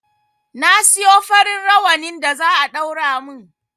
Na siyo farin rawanin da za a ɗaura mun